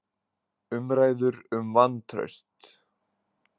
Umræður um vantraust